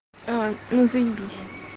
а ну заебись